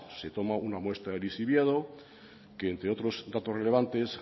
se toma una muestra de lixiviado que entre otros datos relevantes